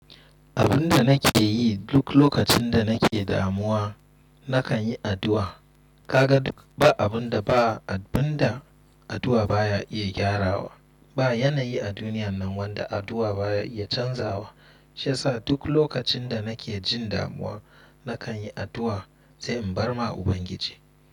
Abun da nake yi duk lokacin da nake damuwa, na kan yi addu’a. Ka ga duk ba abun da ba abun da addu’a ba ya iya gyarawa. Ba yanayi a duniyan nan wanda addu’a baya iya canzawa. Shi yasa duk lokacin da nake jin damuwa, na kan yi addu’a, sai in barma Ubangiji.